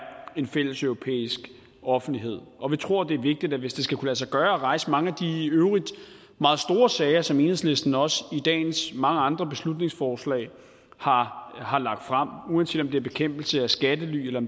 en fælles europæisk offentlighed og vi tror at hvis det skal kunne lade sig gøre at rejse mange af de i øvrigt meget store sager som enhedslisten også i dagens mange andre beslutningsforslag har har lagt frem uanset om det er bekæmpelse af skattely eller